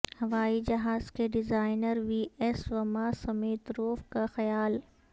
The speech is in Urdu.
ہوائی جہاز کے ڈیزائنر وی ایس وماسمیتروف کا خیال